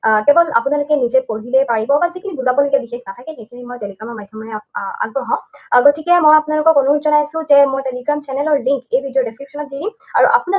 আহ কেৱল আপোনালোকে নিজে পঢ়িলেই পাৰিব, বা যিখিনি বুজাবলগীয়া বিশেষ নাথাকে, সেইখিনি মই Telegram ৰ মাধ্যমেৰে আহ আগবঢ়াও। আহ গতিকে মই আপোনালোকক অনুৰোধ জনাইছোঁ যে মোৰ Telegram channel ৰ link এই video description ত দি দিম।